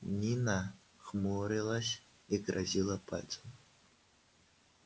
нина хмурилась и грозила пальцем